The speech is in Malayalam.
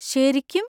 ശരിക്കും?